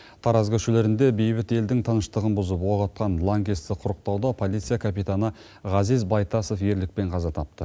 тараз көшелерінде бейбіт елдің тыныштығын бұзып оқ атқан лаңкесті құрықтауда полиция капитаны ғазиз байтасов ерлікпен қаза тапты